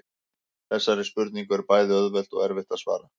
Þessari spurningu er bæði auðvelt og erfitt að svara.